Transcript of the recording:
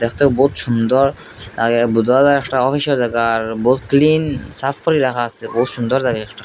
দ্যাখতে বহুত সুন্দর আগে বুদ্ধদের একটা অফিসও দেকার বহুত ক্লিন সাফ করে রাখা আসে বহুত সুন্দর জাগা একটা।